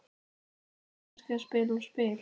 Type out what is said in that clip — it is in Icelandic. Eru þau kannski að spila á spil?